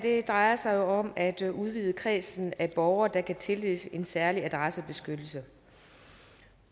drejer sig jo om at udvide kredsen af borgere der kan tildeles en særlig adressebeskyttelse